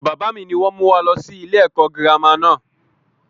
Bàbá mi ni wọn mú wá lọ sí ilé ẹ̀kọ́ girama náà.